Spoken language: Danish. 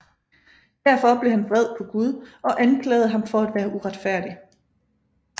Derfor blev han vred på Gud og anklagede ham for at være uretfærdig